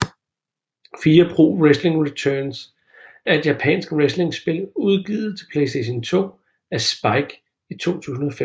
Fire Pro Wrestling Returns er et japansk wrestlingspil udgivet til PlayStation 2 af Spike i 2005